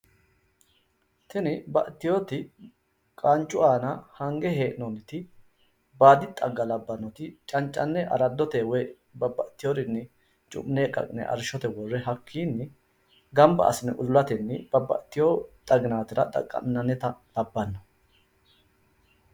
Tini baxxiteyooti qaancu aana hange hee'noonniti baadi xagga labbannoti cancanne araddoteyi woy babbaxxeyoorinni tu'ne ka'ne arrishshote worroonniti hakkiinni gamba assine udulateeti babbaxxiteyo xaginaatira xaqqa'minannita labbanno